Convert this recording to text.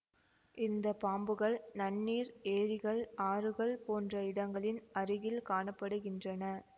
இந்த பாம்புகள் நன்னீர் ஏரிகள் ஆறுகள் போன்ற இடங்களின் அருகில் காண படுகின்றன